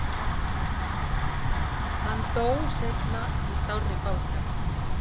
hann dó seinna í sárri fátækt